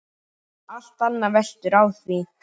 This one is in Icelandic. Allt annað veltur á því.